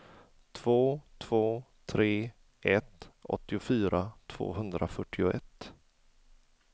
två två tre ett åttiofyra tvåhundrafyrtioett